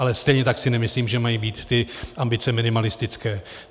Ale stejně tak si nemyslím, že mají být ty ambice minimalistické.